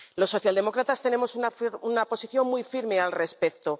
Los socialdemócratas tenemos una posición muy firme al respecto.